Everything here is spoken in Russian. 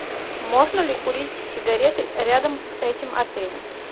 можно ли курить сигареты рядом с этим отелем